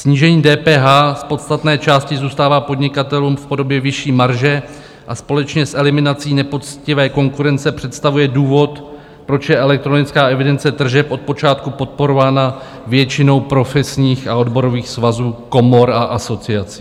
Snížení DPH z podstatné části zůstává podnikatelům v podobě vyšší marže a společně s eliminací nepoctivé konkurence představuje důvod, proč je elektronická evidence tržeb od počátku podporována většinou profesních a odborových svazů, komor a asociací.